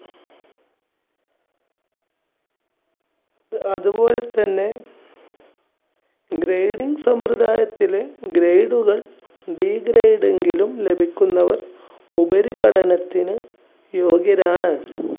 അതുപോലെതന്നെ grading സമ്പ്രദായത്തിലെ grade കൾ Degrade എങ്കിലും ലഭിക്കുന്നവർ ഉപരിപഠനത്തിന് യോഗ്യരാണ്.